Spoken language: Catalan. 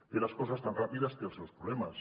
fer les coses tan ràpides té els seus problemes